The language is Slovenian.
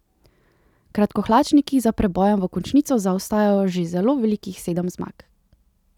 Kratkohlačniki za prebojem v končnico zaostajajo že zelo velikih sedem zmag.